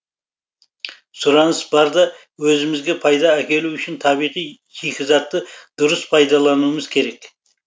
сұраныс бар да өзімізге пайда әкелу үшін табиғи шикізатты дұрыс пайдалануымыз керек